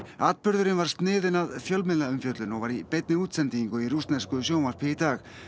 atburðurinn var sniðinn að fjölmiðlaumfjöllun og var í beinni útsendingu í rússnesku sjónvarpi í dag